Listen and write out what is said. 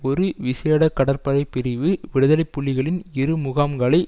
ஒரு விசேட கடற்படைப் பிரிவு விடுதலை புலிகளின் இரு முகாம்களை